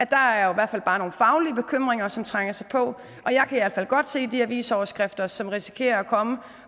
bare er nogle faglige bekymringer som trænger sig på og jeg kan i hvert fald godt se de avisoverskrifter som risikerer at komme